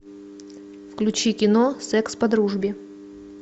включи кино секс по дружбе